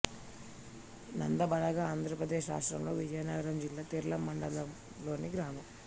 నందబలగ ఆంధ్ర ప్రదేశ్ రాష్ట్రం విజయనగరం జిల్లా తెర్లాం మండలంలోని గ్రామం